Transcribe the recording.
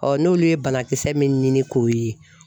n'olu ye banakisɛ min ɲini k'o ye